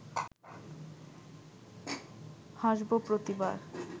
হাসব প্রতিবার